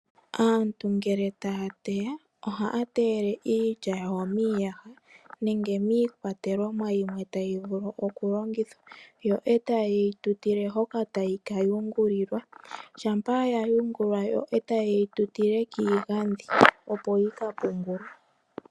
Aantu ngele ta ya teya, oha ya teyele iilya yawo miiyaha nenge miikwatelwamo yimwe tayi vulu okulongithwa. Yo e taye yi tutile hoka ta yi ka hungulilwa, shampa ya hungulwa yo taye yi tutile kiigadhi opo yi ka pungulwe.